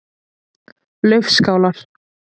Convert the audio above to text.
Laufskálar